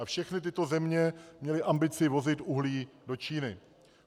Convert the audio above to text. A všechny tyto země měly ambici vozit uhlí do Číny.